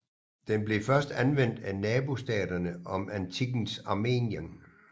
Den blev først anvendt af nabostaterne om antikkens Armenien